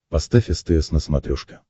поставь стс на смотрешке